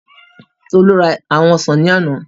Tolú ra àwọn ọsàn ní àná